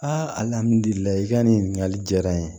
i ka nin ɲininkali diyara n ye